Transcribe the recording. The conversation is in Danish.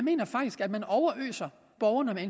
mener faktisk at man overøser borgerne med